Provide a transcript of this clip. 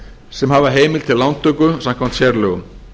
sem hafa heimild til lántöku samkvæmt sérlögum